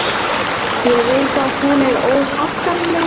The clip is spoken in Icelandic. Ég veit að hún er óhagganleg.